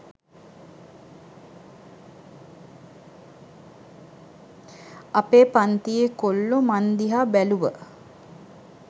අපේ පංතියෙ කොල්ලො මං දිහා බැලුව